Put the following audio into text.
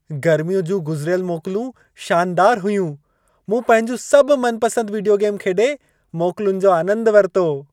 गर्मीअ जूं गुज़िरियल मोकलूं शानदारु हुयूं। मूं पंहिंजूं सभु मनपसंद वीडियो गेम खेॾे मोकलुनि जो आनंदु वरितो।